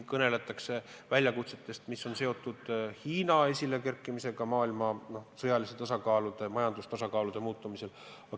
Kõneletakse ka väljakutsetest, mis on seotud Hiina esilekerkimisega ja maailma sõjalise ning majanduse tasakaalu muutumisega.